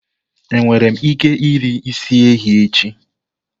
Enwere m ike iri isi ehi echi?